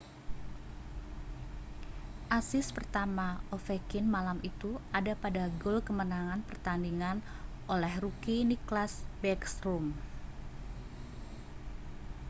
asis pertama ovechkin malam itu ada pada gol kemenangan pertandingan oleh rookie nicklas backstrom